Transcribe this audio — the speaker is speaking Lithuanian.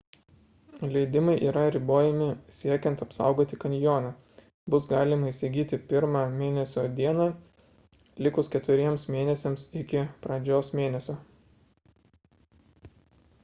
leidimai yra ribojami siekiant apsaugoti kanjoną – bus galima įsigyti 1-ą mėnesio dieną likus keturiems mėnesiams iki pradžios mėnesio